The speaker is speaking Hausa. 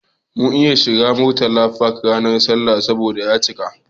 Bamu iya shiga Murtala Park ranar sallah ba saboda ya cika.